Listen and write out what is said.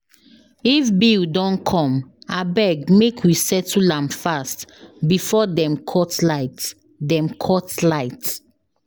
If bill don come, abeg make we settle am fast before dem cut light. dem cut light.